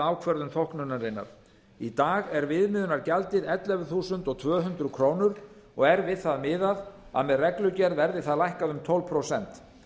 ákvörðun þóknunarinnar í dag er viðmiðunargjaldið ellefu þúsund tvö hundruð krónur og er við það miðað að með reglugerð verði það lækkað um tólf prósent